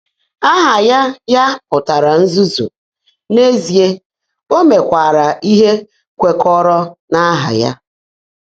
Áhá yá yá pụ́tárá “nzúzu,” n’ézíe, ó meèkwáárá íhe kwèkọ́rọ́ n’áhá yá.